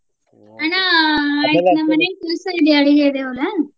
ಅಣ್ಣ ನಮ್ಮ ಮನಿ ಕೆಲ್ಸಾ ಇದೆ .